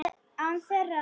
Án þeirra.